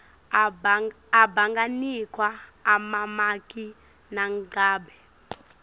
abanganikwa emamaki nangabe